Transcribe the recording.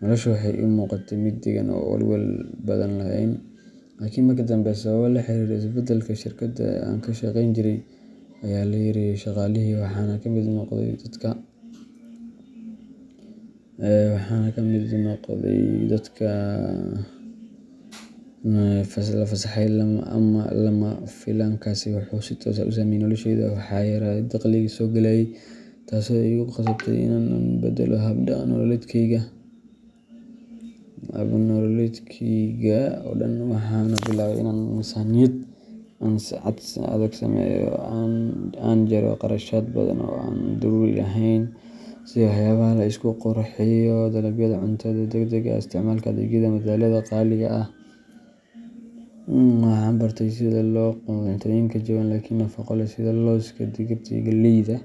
Noloshu waxay ii muuqatay mid deggan oo aan walwal badan lahayn. Laakiin markii dambe, sababo la xiriira isbeddelka shirkaddii aan ka shaqayn jiray, ayaa la yareeyay shaqaalihii, waxaana ka mid noqday dadka la fasaxay. Lama filaankaasi wuxuu si toos ah u saameeyay nolosheyda waxaa yaraaday dakhligii soo gelayay, taasoo igu qasabtay in aan beddelo hab nololeedkaygii oo dhan. Waxaan bilaabay in aan miisaaniyad adag sameeyo, aan jaro kharashaad badan oo aan daruuri ahayn, sida waxyaabaha la isku qurxiyo, dalabyada cuntada degdegga ah, iyo isticmaalka adeegyada madadaalada qaali ah. Waxaan bartay sida loo gado cuntooyinka jaban laakiin nafaqo leh, sida looska, digirta, iyo galleyda.